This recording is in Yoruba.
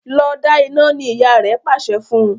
Lọ dá iná! ní ìyá rẹ pàṣẹ fún.